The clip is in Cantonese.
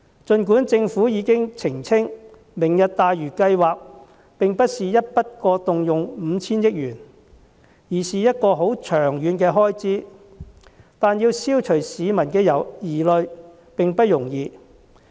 儘管政府已經澄清，"明日大嶼"計劃並不是一筆過動用 5,000 億元，該筆費用是很長遠的開支，但要消除市民的疑慮並不容易。